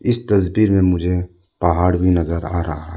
इस तस्वीर में मुझे पहाड़ भी नजर आ रहा है।